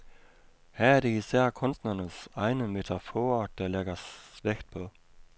Her er det især kunstnernes egne metaforer, der lægges vægt på.